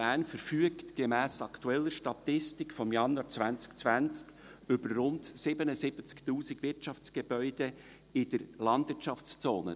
Er verfügt gemäss aktueller Statistik von Januar 2020 über rund 77’000 Wirtschaftsgebäude in der Landwirtschaftszone.